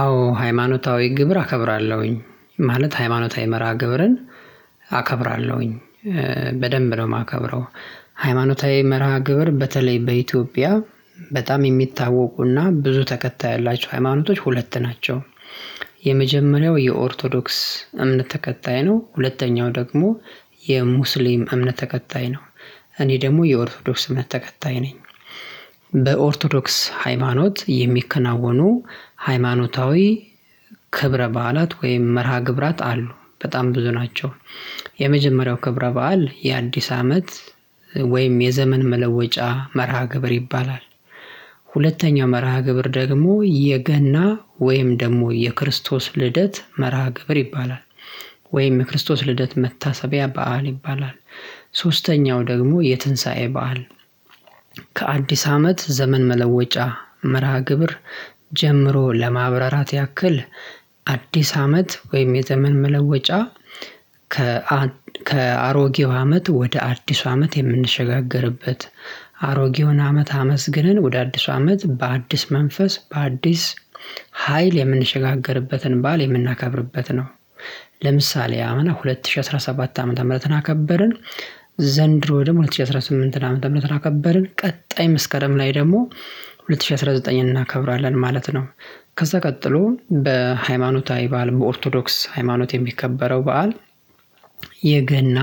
አዎ ሃይማኖታዊ ግብር አከብራለሁኝ። ማለት ሃይማኖታዊ መርሃ ግብርን አከብራለሁኝ በደንብ ነው የማከብረው። ሃይማኖታዊ መርሃ ግብር በተለይ በኢትዮጵያ በጣም የሚታወቁና ብዙ ተከታይ ያላቸው ሃይማኖቶች ሁለት ናቸው። የመጀመሪያው የኦርቶዶክስ እምነት ተከታይ ነው። ሁለተኛው ደግሞ የሙስሊም እምነት ተከታይ ነው። እኔ ደግሞ የኦርቶዶክስ እምነት ተከታይ ነኝ። በኦርቶዶክስ ሃይማኖት የሚከናወኑ ሃይማኖታዊ ክብረ በዓላት ወይም መርሃ ግብራት አሉ። በጣም ብዙ ናቸው። የመጀመሪያው ክብረ በዓል የአዲስ አመት ወይም የዘመን መለወጫ መርሃ ግብር ይባላል። መርሃ ግብር ደግሞ የገና ወይም ደግሞ የክርስቶስ ልደት መርሃ ግብር ይባላል። ወይም የክርስቶስ ልደት መታሰቢያ በዓል ይባላል። ሶስተኛው ደግሞ የትንሳኤ በዓል። ከአዲስ አመት ዘመን መለወጫ መርሃ ግብር ጀምሮ ለማብራራት ያክል አዲስ አመት ወይም የዘመን መለወጫ ከአ ከአሮጌው አመት ወደ አዲሱ አመት የምንሸጋገርበት አሮጌውን አመት አመስግነን ወደ አዲሱ አመት በአዲስ መንፈስ በአዲስ ሀይል የምንሸጋገርበትን በዓል የምናከብርበት ነው። ለምሳሌ አምና ሁለት ሺህ አስራ ሰባት አመት ምህረትን አከበርን ዘንድሮ ደሞ ሁለት ሺህ አስራ ስምንትን ዓመተ ምህረትን አከበርን። ቀጣይ መስከረም ላይ ደግሞ ሁለት ሺህ አስራ ዘጠኝን እናከብራለን ማለት ነው። ከዛ ቀጥሎ በሃይማኖታዊ በዓል በኦርቶዶክስ ሃይማኖት የሚከበረው በዓል የገና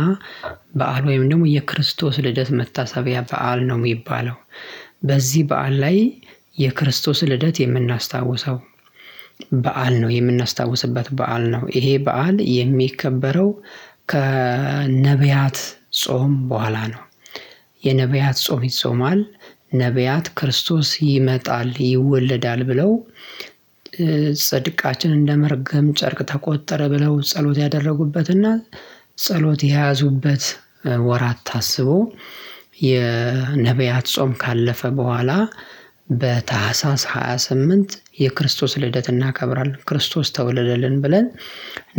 በዓል ወይም ደግሞ የክርስቶስ ልደት መታሰቢያ በዓል ነው ሚባለው። በዚህ በዓል ላይ የክርስቶስ ልደት የምናስታውሰው በዓል ነው የምናስታውስበት በዓል ነው። ይሄ በዓል የሚከበረው ከነብያት ጾም በኋላ ነው። የነብያት ጾም ይጾማል። ነብያት ክርስቶስ ይመጣል: ይወለዳል ብለው እንደመርገም ጨርቅ ተቆጠረ ብለው ጸሎት ያደረጉበትና ጸሎት የያዙበት ወራት ታስቦ የነብያት ጾም ካለፈ በኋላ በታህሣሥ ሃያ ስምንት የክርስቶስ ልደት እናከብራለን። ክርስቶስ ተወለደልን ብለን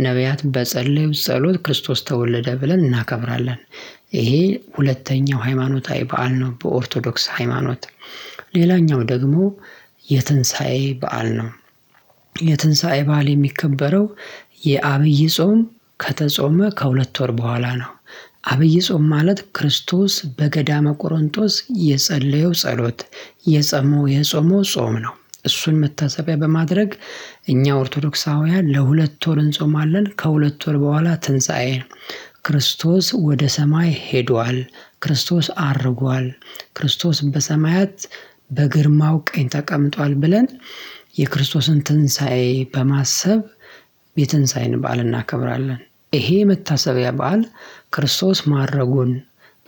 ነብያት በፀለዩት ጸሎት ክርስቶስ ተወለደ ብለን እናከብራለን። ይሄ ሁለተኛው ሃይማኖታዊ በዓል ነው በኦርቶዶክስ ሃይማኖት ሌላኛው ደግሞ የትንሳኤ በዓል ነው። በዓል የሚከበረው የአብይ ጾም ከተጾመ ከሁለት ወር በኋላ ነው። አብይ ጾም ማለት ክርስቶስ በገዳመ ቆሮንጦስ የፀለየው ጸሎት የጸመው የጾመው ጾም ነው። እሱን መታሰቢያ በማድረግ እኛ ኦርቶዶክሳውያን ለሁለት ወር እንጾማለን። ከሁለት ወር በኋላ ትንሣኤ ነው። ክርስቶስ ወደ ሰማይ ሄዷል። ክርስቶስ አርጓል። ክርስቶስ በሰማያት በግርማው ቀኝ ተቀምጧል። ብለን የክርስቶስን ትንሳኤ በማሰብ የትንሳኤን በዓል እናከብራለን። ይሄ መታሰቢያ በዓል ክርስቶስ ማረጉን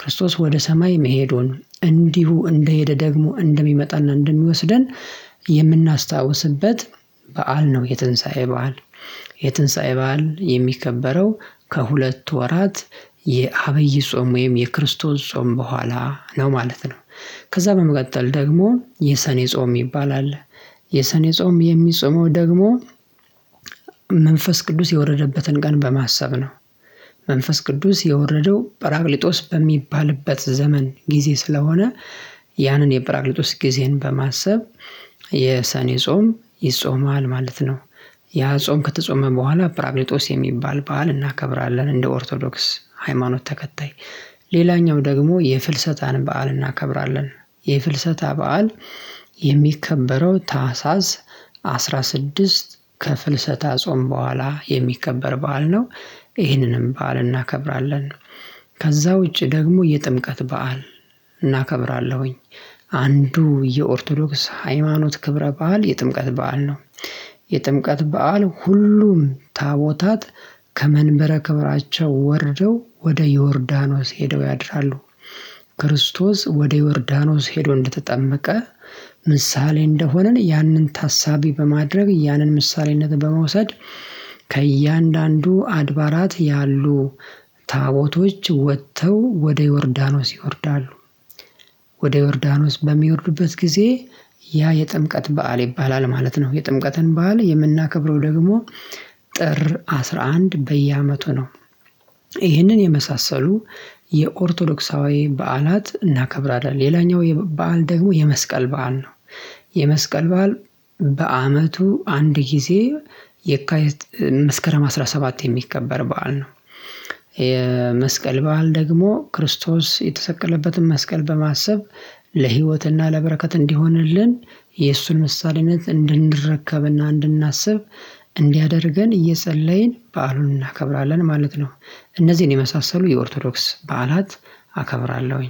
ክርስቶስ ወደ ሰማይ መሄዱን እንዲሁ እንደሄደ ደግሞ እንደሚመጣና እንደሚወስደን የምናስታውስበት በዓል ነው የትንሳኤ በዓል። የትንሳኤ በዓል የሚከበረው ከሁለት ወራት የአብይ ጾም ወይም የክርስቶስ ጾም በኋላ ነው ማለት ነው። ከዛ በመቀጠል ደግሞ የሰኔ ጾም ይባላል። የሰኔ ጾም የሚጾመው ደግሞ መንፈስ ቅዱስ የወረደበትን ቀን በማሰብ ነው መንፈስ ቅዱስ የወረደው ጰራቅሊጦስ በሚባልበት ዘመን ጊዜ ስለሆነ ያንን የጰራቅሊጦስ ጊዜን በማሰብ የሰኔ ጾም ይጾማል ማለት ነው። ያ ጾም ከተጾመ በኋላ ጰራቅሊጦስ የሚባል በዓል እናከብራለን እንደ ኦርቶዶክስ ሃይማኖት ተከታይ ሌላኛው ደግሞ የፍልሰታን በዓል እናከብራለን። የፍልሰታ በዓል የሚከበረው ታህሳስ አስራ ስድስት ከፍልሰታ ጾም በኋላ የሚከበር በዓል ነው። ይህንንም በዓል እናከብራለን። ከዛ ውጪ ደግሞ የጥምቀት በዓል እናከብራለሁኝ። አንዱ የኦርቶዶክስ ሃይማኖት ክብረ በዓል የጥምቀት በዓል ነው። የጥምቀት በዓል ሁሉም ታቦታት ከመንበረ ክብራቸው ወርደው ወደ ዮርዳኖስ ሄደው ያድራሉ። ክርስቶስ ወደ ዮርዳኖስ ሄዶ እንደተጠመቀ ምሳሌ እንደሆነን ያንን ታሳቢ በማድረግ ያንን ምሳሌነት በመውሰድ ከእያንዳንዱ አድባራት ያሉ ታቦቶች ወጥተው ወደ ዮርዳኖስ ይወርዳሉ። ወደ ዮርዳኖስ በሚወርዱበት ጊዜ ያ የጥምቀት በዓል ይባላል ማለት ነው። የጥምቀትን በዓል የምናከብረው ደግሞ ጥር አስራ አንድ በየዓመቱ ነው። ይህንን የመሳሰሉ የኦርቶዶክሳዊ በዓላት እናከብራለን። ሌላኛው የበአል ደግሞ የመስቀል በዓል ነው። የመስቀል በዓል በአመቱ አንድ ጊዜ የካይት መስከረም አስራ ሰባት የሚከበር በዓል ነው። የመስቀል በዓል ደግሞ ክርስቶስ የተሰቀለበትን መስቀል በማሰብ ለህይወትና ለበረከት እንዲሆንልን የእሱን ምሳሌነት እንድንረከብና እንድናስብ እንዲያደርገን እየፀለይን በዓሉን እናከብራለን ማለት ነው። እነዚህን የመሳሰሉ የኦርቶዶክስ በዓላት አከብራለሁኝ